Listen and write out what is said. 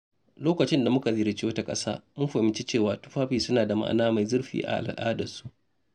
Lokacin da muka ziyarci wata ƙasa, mun fahimci cewa tufafi suna da ma’ana mai zurfi a al’adarsu.